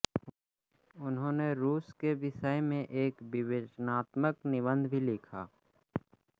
उन्होंने रूस के के विषय में एक विवेचनात्मक निबंध भी लिखा